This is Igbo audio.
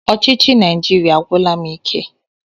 Ọchịchị Naijiria agwụla m ike.